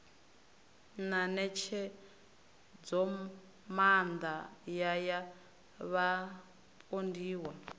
na ṋetshedzomaanda ya ya vhapondiwa